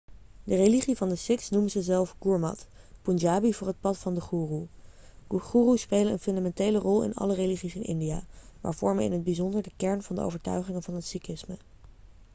de religie van de sikhs noemen ze zelf gurmat' punjabi voor het pad van de goeroe' goeroes spelen een fundamentele rol in alle religies in india maar vormen in het bijzonder de kern van de overtuigingen van het sikhisme